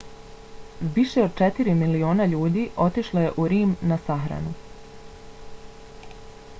više od četiri miliona ljudi otišlo je u rim da na sahranu